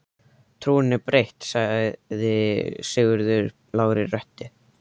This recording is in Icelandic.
Trúin er breytt, sagði Sigurður lágri röddu.